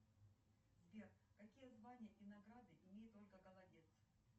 сбер включи телеканал калейдоскоп